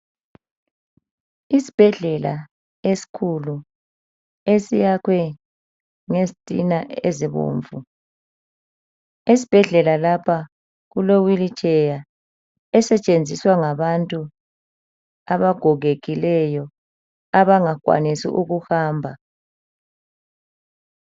Isibhedlela esikhulu, esiyakhwe ngezitina ezibomvu. Esibhedlela lapha kule wheelchair esetshenziswa ngabantu abagogekileyo abangakwanisi ukuhamba.